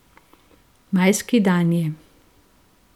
Majski dan je.